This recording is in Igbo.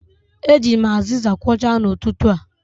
Eji m aziza kwochaa n'ụtụtụ a.